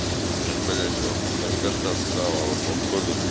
блять наркота схавала походу